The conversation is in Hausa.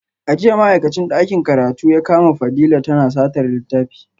A jiya ma’aikacin dakin karatu ya kama Fadila tana satar littafi